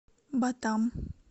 батам